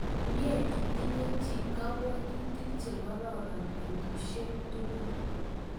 Mye itinye chi kapwotutik chekororon petusyek tukul